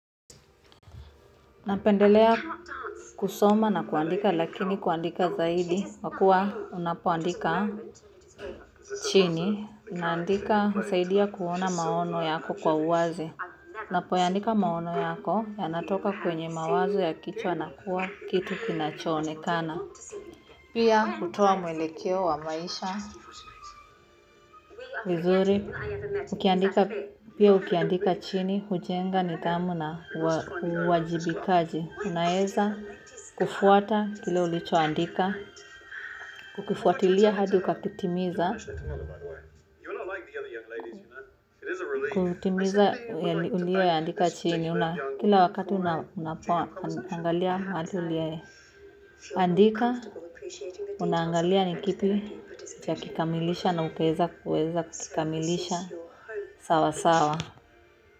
Napendelea kusoma na kuandika lakini kuandika zaidi, kwa kuwa unapoandika chini, husaidia kuona maono yako kwa uwazi. Unapoyaandika maono yako yanatoka kwenye mawazo ya kichwa na kuwa kitu kinachoonekana. Pia hutoa mwelekeo wa maisha. Vizuri, pia ukiandika chini, hujenga nidhamu na uwajibikaji. Unaweza kufwata kile ulichoandika. Kukifuatilia hadi ukakitimiza. Kutimiza uliyoyaandika chini. Kila wakati unapoangalia pahali uliye. Andika, unaangalia nikipi hujakikamilisha na ukaweza kukikamilisha sawa, sawa.